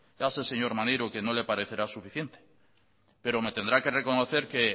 ya sé señor maneiro que no le parecerá suficiente pero me tendrá que reconocer que